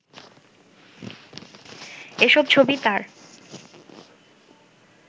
এসব ছবি তাঁর